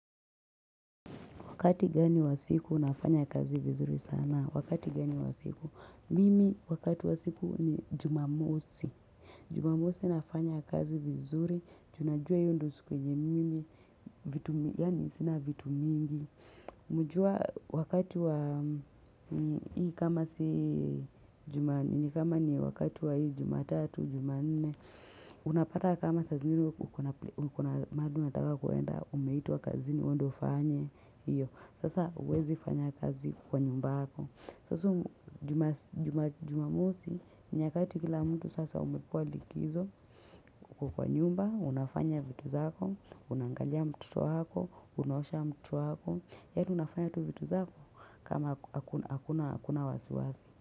Wakati gani wa siku unafanya kazi vizuri sana? Wakati gani wa siku? Mimi wakati wa siku ni jumamosi. Jumamosi nafanya kazi vizuri. Ju najua hiyo ndio siku yenye mimi. Yani sina vitu mingi. Mujua wakati wa hii kama si juma kama ni wakati wa juma tatu, juma nene. Unapata kama saa zingine uko na mahali unataka kuenda, umeitwa kazini uende ufanye. Iyo, sasa huwezi fanya kazi kwa nyumba yako. Sasa jumamosi, nyakati kila mtu sasa umepewa likizo kwa nyumba, Unafanya vitu zako, unaangalia mtoto wako, unosha mtoto hako, Yaani unafanya tu vitu zako, kama hakuna wasiwasi.